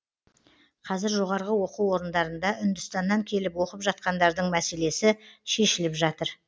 қазір жоғары оқу орындарында үндістаннан келіп оқып жатқандардың мәселесі шешіліп жатыр